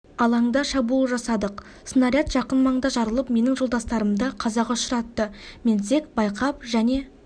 алаңда шабуыл жасадық снаряд жақын маңда жарылып менің жолдастарымды қазаға ұшыратты мен тек байқап және